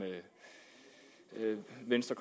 venstre